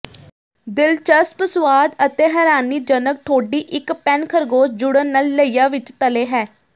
ਦਿਲਚਸਪ ਸੁਆਦ ਅਤੇ ਹੈਰਾਨੀਜਨਕ ਠੋਡੀ ਇੱਕ ਪੈਨ ਖਰਗੋਸ਼ ਜੁੜਨ ਨਾਲ ਲਈਆ ਵਿੱਚ ਤਲੇ ਹੈ